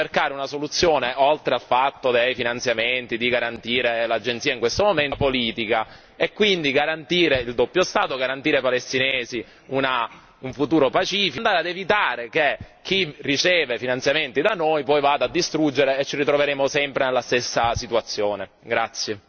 Quindi direi che dovremmo cercare una soluzione, oltre al fatto di garantire finanziamenti all'Agenzia in questo momento, che sia politica, e quindi garantire il doppio Stato, garantire ai palestinesi un futuro pacifico e andare ad evitare che chi riceve finanziamenti da noi poi vada a distruggere o ci ritroveremo sempre nella stessa situazione.